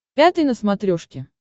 пятый на смотрешке